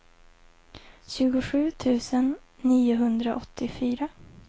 tjugosju tusen niohundraåttiofyra